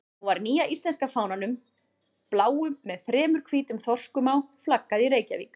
Nú var nýja íslenska fánanum, bláum með þremur hvítum þorskum á, flaggað í Reykjavík.